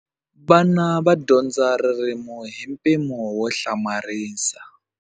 Vana va dyondza ririmi hi mpimo wo hlamarisa.